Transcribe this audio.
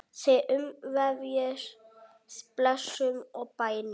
Þig umvefji blessun og bænir.